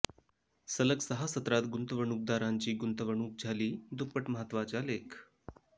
सलग सहा सत्रात गुंतवणूकदारांची गुंतवणूक झाली दुप्पट महत्तवाचा लेख